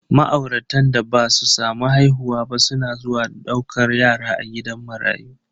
Ma'auratan da basu samu haihuwa ba suna zuwa daukan yara a gidan marayu.